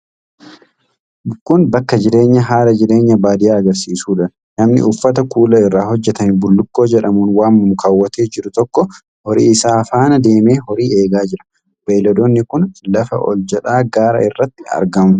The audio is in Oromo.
Kun, bakka jireenyaa haala jireenya baadiyaa agarsiisu dha. Namni uffata kuula irraa hojjatame bullukkoo jedhamuun waamamu kaawwatee jiru tokko ,horii isaa faana deemee horii eegaa jira. Beeyiladoonni kun lafa ol jedhaa gaara irratti argamu.